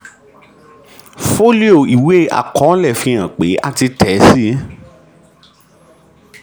fólíò ìwé àkọọ́lẹ̀ fi hàn pé a ti títẹ̀ síi.